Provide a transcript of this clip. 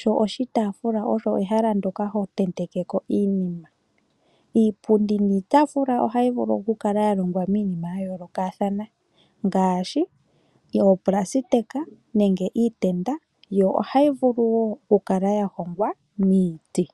sho oshitaafula osho ehala ndyoka hotenteke ko iinima. Iipundi niitafula ohayi vulu oku kala ya longwa miinima ya yoolokathana ngaashi oonailona nenge iitenda, yo ohayi vulu wo oku kala yahongwa miiti.